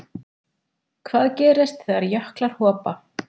Hvað gerist þegar jöklar hopa?